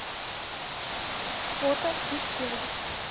фото кит сервис